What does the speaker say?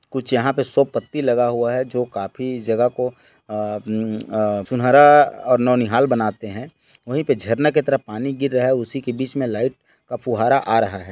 कुछ यहाँ पे शो पत्ति लगा हुआ है जो काफी जगह को अ- मम- अ- सुनहरा और ननिहाल बनते है वहीं पे झरना की तरफ पानी गिर रहा है उसी के बिच में लाईट का फुवारा आ रहा है।